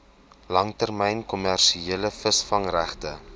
langtermyn kommersiële visvangregte